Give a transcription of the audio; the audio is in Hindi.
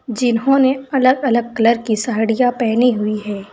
जिन्होंने अलग अलग कलर की साड़ियां पहनी हुई है।